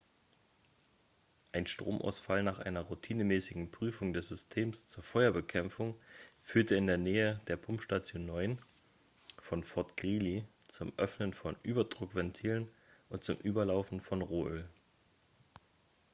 ein stromausfall nach einer routinemäßigen prüfung des systems zur feuerbekämpfung führte in der nähe der pumpstation 9 von fort greely zum öffnen von überdruckventilen und zum überlaufen von rohöl